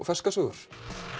ferskar sögur